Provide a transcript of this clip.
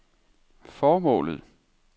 formålet